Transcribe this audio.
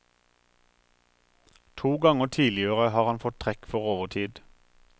To ganger tidligere har han fått trekk for overtid.